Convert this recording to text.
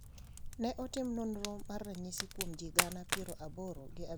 Ne otim nonro mar ranyisi kuom ji gana piero aboro gi abich gi piero abich gi aboro nyaka sani.